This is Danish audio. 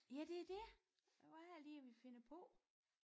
Ja det er det hvad er det lige vi finder på